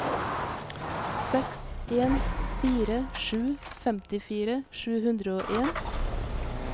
seks en fire sju femtifire sju hundre og en